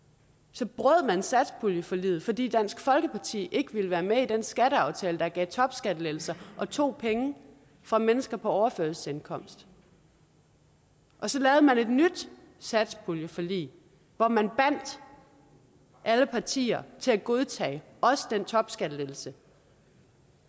så brød man satspuljeforliget fordi dansk folkeparti ikke ville være med i den skatteaftale der gav topskattelettelser og tog penge fra mennesker på overførselsindkomst og så lavede man et nyt satspuljeforlig hvor man bandt alle partier til at godtage også den topskattelettelse